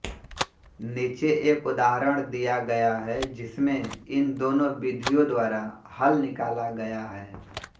नीचे एक उदाहरण दिया गया है जिसमें इन दोनों विधियों द्वारा हल निकाला गया है